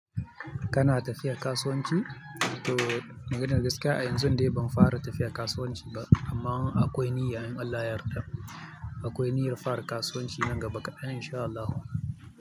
Kana tafiya kasuwanci to maganar gaskiya a yanzun dai ban fara tafiya kasuwanci ba amma akwai niyya in Allah ya yarda. Akwai niyyar fara kasuwanci nan gaba kadan in sha Allahu.